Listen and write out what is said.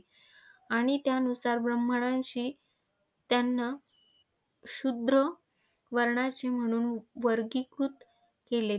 आणि त्यानुसार ब्राह्मणांशी त्यांना शूद्र वर्णाचे म्हणून वर्गीकृत केले.